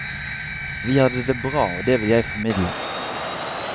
Vi hadde det bra, og det vil jeg formidle.